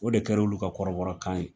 O de kɛra olu ka kɔrɔbɔrɔ kan ye.